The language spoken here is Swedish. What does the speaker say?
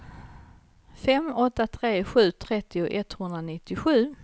fem åtta tre sju trettio etthundranittiosju